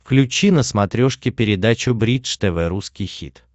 включи на смотрешке передачу бридж тв русский хит